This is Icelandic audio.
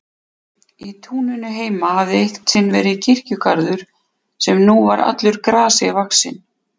Í túninu heima hafði eitt sinn verið kirkjugarður sem nú var allur grasi vaxinn.